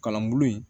Kalan bulon in